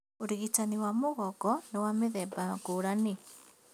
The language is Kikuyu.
Ũrigitani wa mũgongo nĩ wa mĩthemba ngũrani